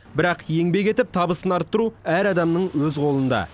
бірақ еңбек етіп табысын арттыру әр адамның өз қолында